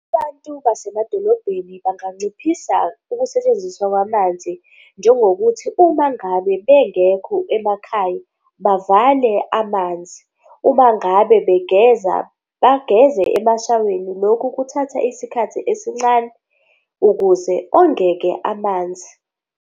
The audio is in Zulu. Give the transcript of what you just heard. Abantu basemadolobheni banganciphisa ukusetshenziswa kwamanzi njengokuthi uma ngabe bengekho emakhaya bavale amanzi, uma ngabe begeza bageze emashaweni. Lokhu kuthatha isikhathi esincane ukuze ongeke amanzi.